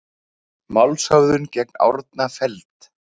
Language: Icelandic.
Málshöfðun gegn Árna felld